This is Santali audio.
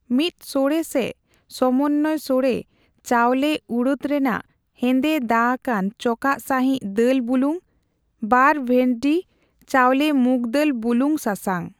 ᱢᱤᱛ ᱥᱚᱲᱮ ᱥᱮ ᱥᱚᱢᱚᱱᱭᱚ ᱥᱚᱲᱮ ᱺ ᱪᱟᱣᱞᱮ ᱩᱲᱚᱫᱽ ᱨᱮᱱᱟᱜ ᱦᱮᱸᱫᱮ ᱫᱟᱹ ᱟᱠᱟᱱ ᱪᱚᱠᱟᱜ ᱥᱟᱸᱦᱤᱡ ᱫᱟᱹᱞ ᱵᱩᱞᱩᱝ᱾ ᱵᱟᱨ ᱵᱷᱮᱫᱰᱤ ᱺ ᱪᱟᱣᱞᱮ ᱢᱩᱸᱜᱽ ᱫᱟᱹᱞ ᱵᱩᱞᱩᱧ ᱥᱟᱥᱟᱝ।